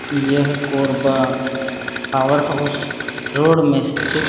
यह Korwa power house road में स्थित--